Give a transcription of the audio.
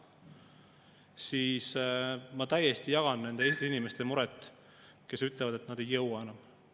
Sellises olukorras ma täiesti jagan nende Eesti inimeste muret, kes ütlevad, et nad ei jõua enam.